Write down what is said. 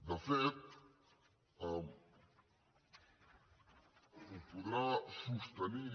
de fet ho podrà sostenir